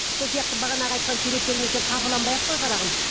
сол сияқты бағанағы айтқан суреттеріңе сен қапаланбай ақ қой қарағым